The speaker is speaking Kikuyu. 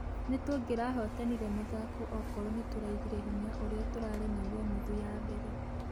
Nĩtũngerahotanire mũthako ũkorwo nĩtũraigire hinya ũria tũrari naguo nuthu ya mbere.